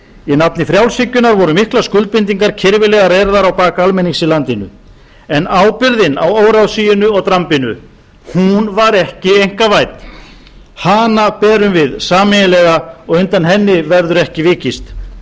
í nafni frjálshyggjunnar voru miklar skuldbindingar kirfilega reyrðar á bak almennings í landinu en ábyrgðin á óráðsíunni og drambinu hún var ekki einkavædd hana berum við sameiginlega og undan henni verður ekki vikist